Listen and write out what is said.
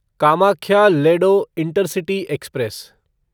Kamakhya Ledo intercity express